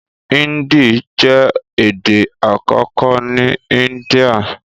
Índì jẹ́ èdè àkọ́kọ́ ní Índíà